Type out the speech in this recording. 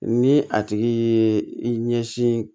Ni a tigi ye i ɲɛsin